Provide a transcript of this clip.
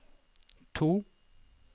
to